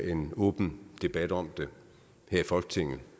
en åben debat om det her i folketinget